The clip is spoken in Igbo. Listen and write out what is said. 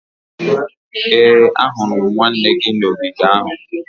ee, ahụrụ m nwanne gị n'ogige ahụ